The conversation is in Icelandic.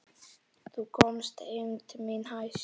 Þá komst eymd mín hæst.